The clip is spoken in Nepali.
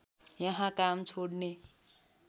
यहाँ काम छोड्ने